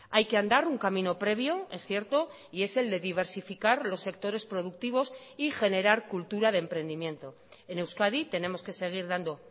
hay que andar un camino previo es cierto y es el de diversificar los sectores productivos y generar cultura de emprendimiento en euskadi tenemos que seguir dando